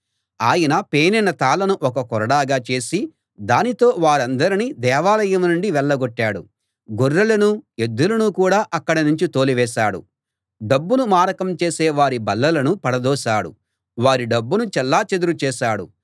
ఆయన పేనిన తాళ్ళను ఒక కొరడాగా చేసి దానితో వారందర్నీ దేవాలయం నుండి వెళ్ళగొట్టాడు గొర్రెలనూ ఎద్దులనూ కూడా అక్కడి నుంచి తోలివేశాడు డబ్బును మారకం చేసే వారి బల్లలను పడదోశాడు వారి డబ్బును చెల్లాచెదరు చేశాడు